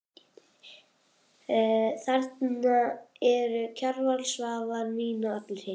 Þarna eru Kjarval, Svavar, Nína og allir hinir.